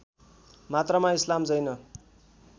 मात्रामा इस्लाम जैन